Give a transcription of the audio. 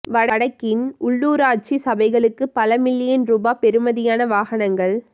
வடக்கின் உள்ளூராட்சி சபைகளுக்குப் பல மில்லியன் ரூபா பெறுமதியான வாகனங்கள்